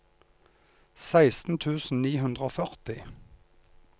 seksten tusen ni hundre og førti